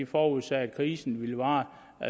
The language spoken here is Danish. forudsagde at krisen ville vare